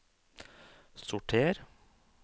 sorter